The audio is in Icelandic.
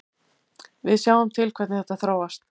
Við sjáum til hvernig þetta þróast.